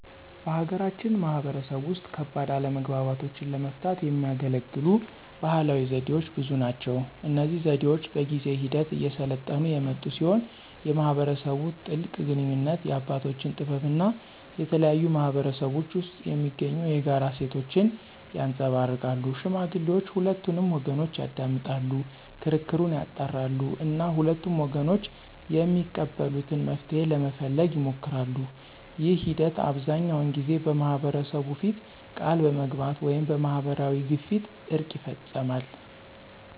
በሀገራችን ማህበረሰብ ውስጥ ከባድ አለመግባባቶችን ለመፍታት የሚያገለግሉ ባህላዊ ዘዴዎች ብዙ ናቸው። እነዚህ ዘዴዎች በጊዜ ሂደት እየሰለጠኑ የመጡ ሲሆን የማህበረሰቡን ጥልቅ ግንኙነት፣ የአባቶችን ጥበብ እና የተለያዩ ማህበረሰቦች ውስጥ የሚገኙ የጋራ እሴቶችን ያንፀባርቃሉ። ሽማግሌዎች ሁለቱንም ወገኖች ያዳምጣሉ፣ ክርክሩን ያጣራሉ እና ሁለቱም ወገኖች የሚቀበሉትን መፍትሄ ለመፈለግ ይሞክራሉ። ይህ ሂደት አብዛኛውን ጊዜ በማህበረሰቡ ፊት ቃል በመግባት ወይም በማህበራዊ ግፊት እርቅ ይፈፀማል።